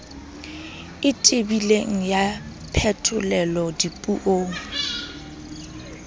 e tebileng ya phetolelo dipuong